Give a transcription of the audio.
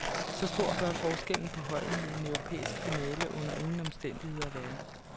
Så stor bør forskellen på holdene i en europæisk finale under ingen omstændigheder være.